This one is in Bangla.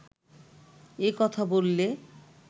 এ কথা বললে